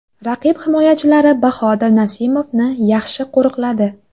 Raqib himoyachilari Bahodir Nasimovni yaxshi qo‘riqladi.